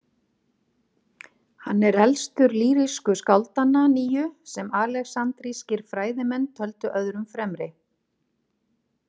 Hann er elstur lýrísku skáldanna níu sem alexandrískir fræðimenn töldu öðrum fremri.